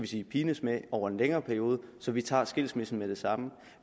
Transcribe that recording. sige pines med over en længere periode så vi tager skilsmissen med det samme